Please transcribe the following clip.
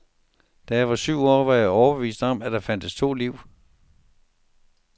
Da jeg var syv år var jeg overbevist om, at der fandtes to liv.